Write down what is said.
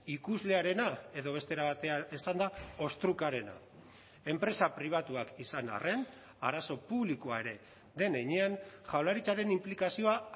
ikuslearena edo beste era batean esanda ostrukarena enpresa pribatuak izan arren arazo publikoa ere den heinean jaurlaritzaren inplikazioa